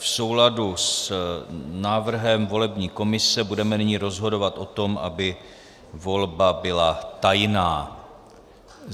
V souladu s návrhem volební komise budeme nyní rozhodovat o tom, aby volba byla tajná.